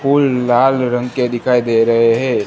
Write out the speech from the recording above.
फूल लाल रंग के दिखाई दे रहे हैं।